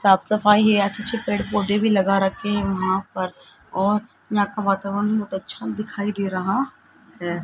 साफ सफाई अच्छे अच्छे पेड़ पौधे भी लगा रखे हैं यहां पर और यहां का वातावरण बहोत अच्छा दिखाई दे रहा है।